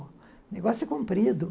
O negócio é comprido.